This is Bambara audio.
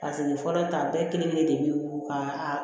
fɔlɔ ta bɛɛ kelen kelen de be wolo ka